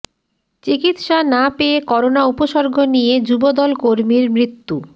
চিকিৎসা না পেয়ে করোনা উপসর্গ নিয়ে যুবদল কর্মীর মৃত্যু